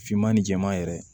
Finman ni jɛman yɛrɛ